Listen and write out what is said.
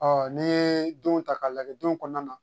n'i ye don ta k'a lajɛ don kɔnɔna na